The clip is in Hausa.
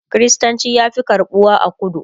kristanci ya Fi karɓuwa a kudu